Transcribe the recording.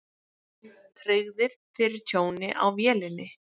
Tryggðir fyrir tjóni á vélinni